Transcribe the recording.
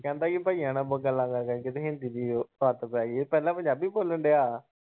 ਕਹਿੰਦਾ ਬਈਆਂ ਨਾਲ ਗੱਲਾਂ ਕਰ-ਕਰ ਕੇ ਹਿੰਦੀ ਦੀ ਆਦਤ‌ ਪੈ ਗਈ ਪਹਿਲਾ ਪੰਜਾਬੀ ਬੋਲਣ ਦਿਆ।